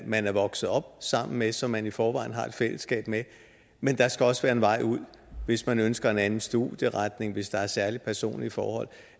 man er vokset op sammen med og som man i forvejen har et fællesskab med men der skal også være en vej ud hvis man ønsker en anden studieretning hvis der er særlige personlige forhold